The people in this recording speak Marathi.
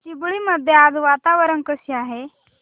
चिंबळी मध्ये आज वातावरण कसे आहे